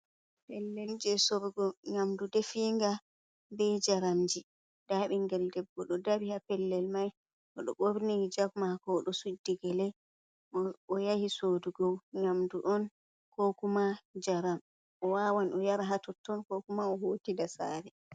Pellel je sorrgo nyamdu definga, ɓe jaramji nda binngel debbo ɗo dari ha pellel mai, oɗo ɓorni hijab mako odo suddi gele, o yahi soodugo nyamdu on, ko kuma jaram, o wawan o yara hatotton ko kuma o hota da sare.